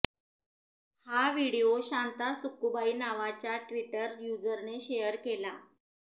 हा व्हिडीओ शांता सक्कुबाई नावाच्या ट्विटर युझरने शेयर केला